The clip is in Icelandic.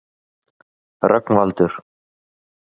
Rögnvaldur